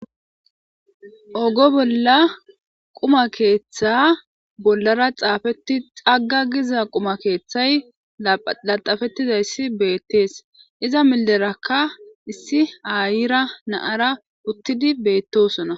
ogo bolla quma keeththa bollara xaafetti xagga giza quma keeththay laxafettizayssi beettees iza millerakka issi ayira naara uttidi beettosona